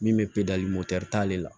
Min bɛ t'ale la